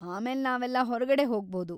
ಆಮೇಲೆ ನಾವೆಲ್ಲ ಹೊರ್ಗಡೆ ಹೋಗ್ಬೋದು.